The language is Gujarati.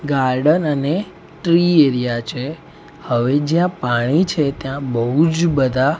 ગાર્ડન અને ટ્રી એરિયા છે હવે જ્યાં પાણી છે ત્યાં બૌજ બધા--